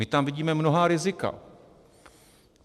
My tam vidíme mnohá rizika.